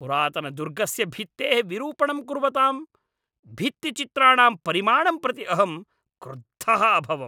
पुरातनदुर्गस्य भित्तेः विरूपणं कुर्वतां भित्तिचित्राणां परिमाणं प्रति अहं क्रुद्धः अभवम्।